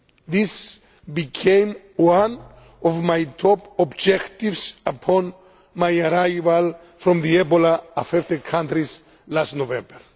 This became one of my top objectives upon my arrival from the Ebola-affected countries last November.